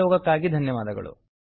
ಸಹಯೋಗಕ್ಕಾಗಿ ಧನ್ಯವಾದಗಳು